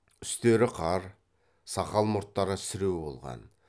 үстері қар сақал мұрттары сіреу болған